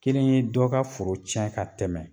Kelen ye dɔ ka foro tiɲɛ ka tɛmɛ.